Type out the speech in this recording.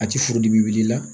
A ti furudimi wulila